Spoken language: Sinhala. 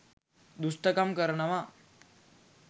දුෂ්ටකම් කරනවා.